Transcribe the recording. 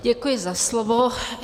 Děkuji za slovo.